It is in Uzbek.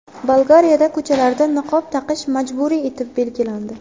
Bolgariyada ko‘chalarda niqob taqish majburiy etib belgilandi.